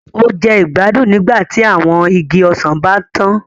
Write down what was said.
O jẹ igbadun nígbàtí awọn ìgi ọsan ba ntàn.